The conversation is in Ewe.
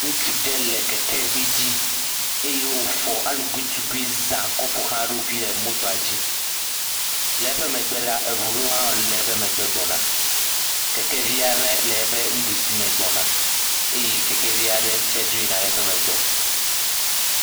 Ŋutsuvi ɖe le keke aɖe dzi eye wofɔ aluguintugui zã kɔ ƒoxla eɖokui. Le eƒe megbe la, eŋu ɖewo le eƒe megbe gbɔ na. Kekevi aɖe le eƒe nuɖusi me gbɔna eye kekevi aɖe le eƒe megbe dzo yina.